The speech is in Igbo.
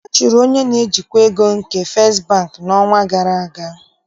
A chụrụ onye njikwa ego nke Festị Bank n'ọnwa gara aga.